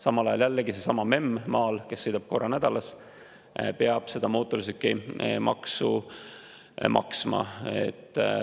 Samal ajal jällegi sellesama memm maal, kes sõidab korra nädalas, peab seda mootorsõidukimaksu maksma.